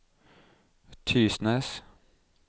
Tysnes